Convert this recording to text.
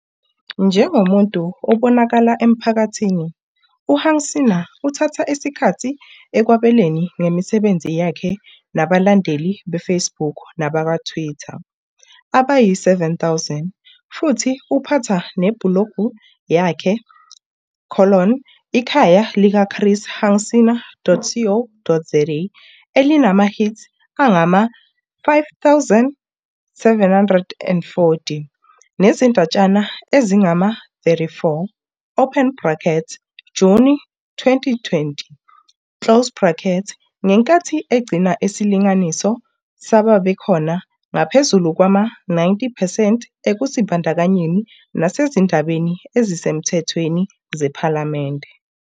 Njengomuntu obonakala emphakathini, uHunsinger uthatha isikhathi ekwabelaneni ngemisebenzi yakhe nabalandeli be-Facebook nabakwa-Twitter abayi-7 000 futhi uphatha nebhulogi yakhe- Ikhaya likaChris Hunsinger.co.za elinama-hits angama-50 740 nezindatshana ezingama-34, Juni 2020, ngenkathi egcina isilinganiso sababekhona ngaphezulu kwama-90 percent ekuzibandakanyeni nasezindabeni ezisemthethweni zePhalamende.